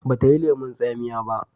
ba ta yi lemun tsamiya ba?